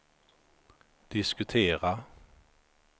diskutera